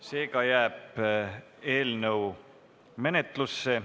Seega jääb eelnõu menetlusse.